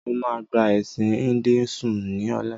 Mo máa gba ẹ̀sìn "Hinduism" ni ọ̀la.